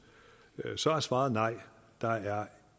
med så er svaret nej der er